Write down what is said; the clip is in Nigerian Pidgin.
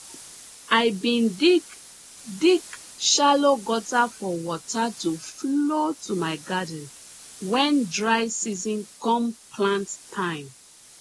i bin dig dig shallow gutter for water to flow to my garden when dry season come plant time